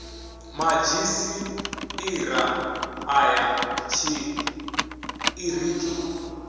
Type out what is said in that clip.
madzhisi ṱira ṱa ya tshiṱiriki